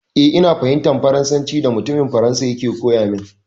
Eh, ina fahimtar Farnsancin da mutumin Faransa yake koya min.